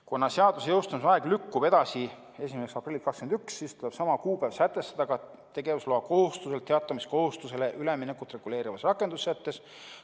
Kuna seaduse jõustumise aeg lükkub edasi 1. aprilliks 2021, siis tuleb sama kuupäev sätestada ka tegevusloakohustuselt teatamiskohustusele üleminekut reguleerivas rakendussättes.